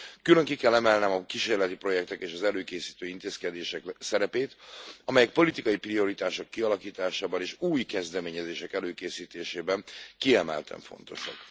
Külön ki kell emelnem a kísérleti projektek és az előkészítő intézkedések szerepét, amelyek politikai prioritások kialakításában és új kezdeményezések előkészítésében kiemelten fontosak.